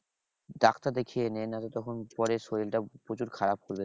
Doctor দেখিয়ে নে নাহলে তখন পরে শরীর টা প্রচুর খারাপ করবে।